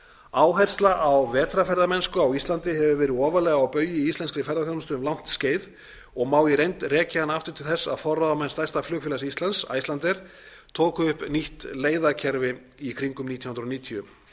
áhersla á vetrarferðamennsku á íslandi hefur verið ofarlega á baugi í íslenskri ferðaþjónustu um langt skeið og má í reynd rekja hana aftur til þess að forráðamenn stærsta flugfélags íslands icelandair tóku upp nýtt leiðakerfi í kringum nítján hundruð níutíu